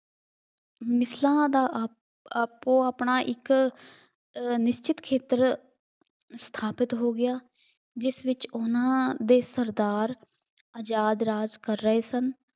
ਮਿਸਲਾਂ ਦਾ ਆਪ ਥਾਪੋ ਆਪਣਾ ਇੱਕ ਨਿਸ਼ਚਿਤ ਖੇਤਰ ਸਥਾਪਿਤ ਹੋ ਗਿਆ। ਜਿਸ ਵਿੱਚ ਉਹਨਾ ਦੇ ਸਰਦਾਰ ਆਜ਼ਾਦ ਰਾਜ ਕਰ ਰਹੇ ਸਨ।